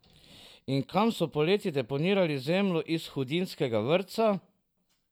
In kam so poleti deponirali zemljo iz hudinjskega vrtca?